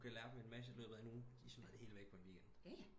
Du kan lære dem en masse i løbet af den uge de smider det hele væk i løbet af en weekend